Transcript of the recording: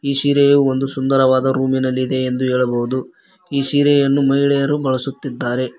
ಈ ಸೀರೆಯು ಒಂದು ಸುಂದರವಾದ ರೂಮಿನಲ್ಲಿ ಇದೆ ಎಂದು ಹೇಳಬಹುದು ಈ ಸೀರಿಯನ್ನು ಮಹಿಳೆಯರು ಬಳಸುತ್ತಿದ್ದಾರೆ.